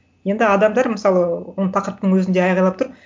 енді адамдар мысалы оны тақырыптың өзінде айқайлап тұр